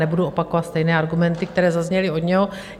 Nebudu opakovat stejné argumenty, které zazněly od něj.